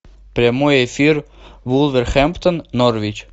прямой эфир вулверхэмптон норвич